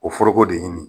O foroko de ɲini